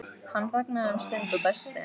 Hann þagnaði um stund og dæsti.